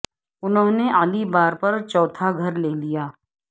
انہوں نے اعلی بار پر چوتھا گھر لے لیا